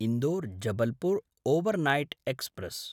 Indore-Jabalpur overnight express